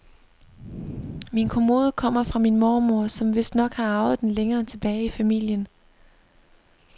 Min kommode kommer fra min mormor, som vistnok har arvet den længere tilbage i familien.